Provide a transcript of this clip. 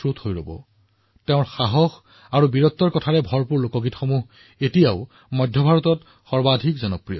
আজিও তেওঁৰ লোকগীত আৰু সাহস আৰু বীৰত্বৰে পৰিপূৰ্ণ কাহিনীবোৰ ভাৰতৰ মধ্য অংশত অতি জনপ্ৰিয়